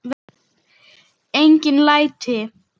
Engin læti.